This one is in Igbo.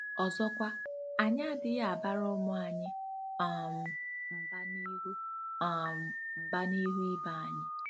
Ọzọkwa, anyị adịghị abara ụmụ anyị um mba n'ihu um mba n'ihu ibe anyị.